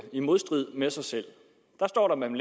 i modstrid med sig selv der står at man